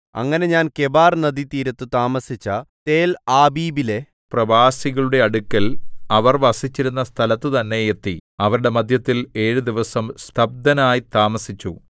അങ്ങനെ ഞാൻ കെബാർനദീതീരത്ത് താമസിച്ച തേൽആബീബിലെ പ്രവാസികളുടെ അടുക്കൽ അവർ വസിച്ചിരുന്ന സ്ഥലത്തുതന്നെ എത്തി അവരുടെ മദ്ധ്യത്തിൽ ഏഴു ദിവസം സ്തബ്ധനായി താമസിച്ചു